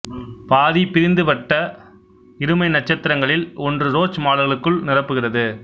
பாதிபிரிந்துபட்ட இருமை நட்சத்திர ங்களில் ஒன்று ரோச் மடல்களுக்குள் நிரப்புகிறது